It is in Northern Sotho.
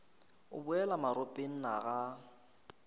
o boela maropeng na ga